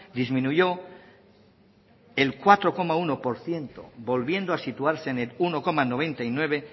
disminuyó el cuatro coma uno por ciento volviendo a situarse en el uno coma noventa y nueve